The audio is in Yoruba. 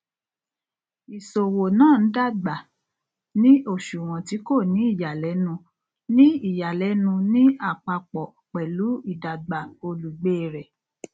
ìṣowó náà ń dàgbà ní òṣùwọn tí kò ní ìyàlénu ní ìyàlénu ní àpapọ pẹlú ìdàgbà olùgbé rẹ